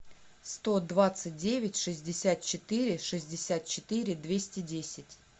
сто двадцать девять шестьдесят четыре шестьдесят четыре двести десять